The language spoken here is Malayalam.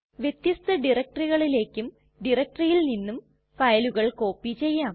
വ്യത്യസ്ത directoryകളിലേക്കും directoryയിൽ നിന്നും ഫയലുകൾ കോപ്പി ചെയ്യാം